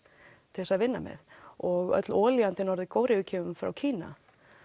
til þess að vinna með og öll olía til Norður Kóreu kemur frá Kína